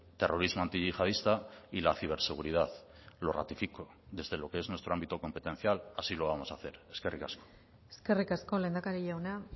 terrorismo antiyihadista y la ciberseguridad lo ratifico desde lo que es nuestro ámbito competencial así lo vamos a hacer eskerrik asko eskerrik asko lehendakari jauna